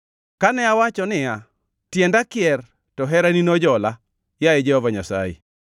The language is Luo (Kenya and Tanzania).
Kane awacho niya, “Tienda kier,” to herani nojola, yaye Jehova Nyasaye.